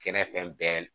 Kɛnɛ fɛn bɛɛ